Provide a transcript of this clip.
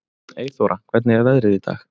Eyþóra, hvernig er veðrið í dag?